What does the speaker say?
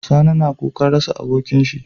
Sani na kukan rasa abokin shi